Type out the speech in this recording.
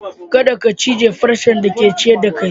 Kadda ka cije farcen da ke ciyar da kai!